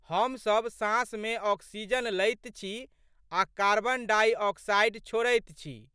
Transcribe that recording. हमसब साँसमे आक्सीजन लैत छी आ' कार्बन डाइ ऑक्साइड छोड़ैत छी।